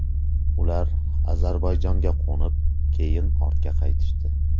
Ular Ozarbayjonga qo‘nib, keyin ortga qaytishdi.